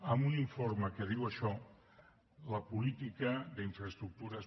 en un informe que diu això la política d’infraestructures